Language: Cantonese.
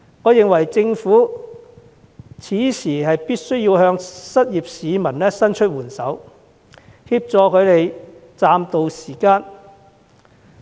我認為政府此時必須向失業市民伸出援手，協助他們暫渡時艱。